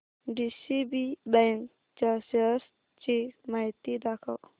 DCB bank च्या shares ची माहिती दाखव